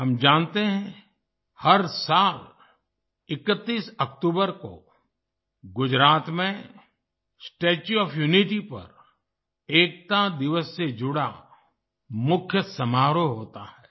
हम जानते हैं हर साल 31 अक्टूबर को गुजरात में स्टेच्यू ओएफ यूनिटी पर एकता दिवस से जुड़ा मुख्य समारोह होता है